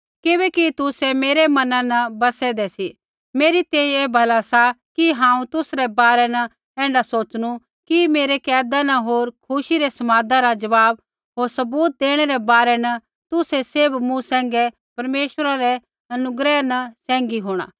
किबैकि तुसै मेरै मना न बसेदें सी मेरी तैंईंयैं ऐ भला सा कि हांऊँ तुसरै बारै न ऐण्ढा सोच़नू कि मेरै कैदा न होर खुशी रै समादा रा जवाब होर सबूत देणै रै बारै न तुसै सैभ मूँ सैंघै परमेश्वरा रै अनुग्रह न सैंघी होंणा